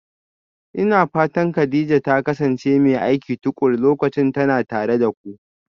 Ina fatan Kadija ta kasance mai aiki tuƙuru lokacin tana tare da ku?